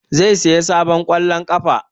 Zai saya sabon ƙwallon ƙafa